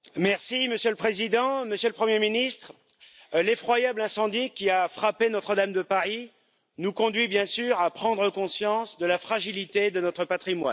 Monsieur le Président, Monsieur le Premier ministre, l'effroyable incendie qui a frappé Notre Dame de Paris nous conduit bien sûr à prendre conscience de la fragilité de notre patrimoine.